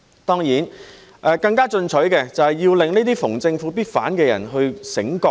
當然，更加進取的，就是要令這些逢政府必反的人醒覺。